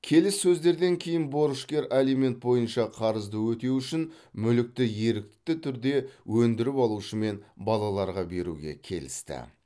келіссөздерден кейін борышкер алимент бойынша қарызды өтеу үшін мүлікті ерікті түрде өндіріп алушы мен балаларға беруге келісті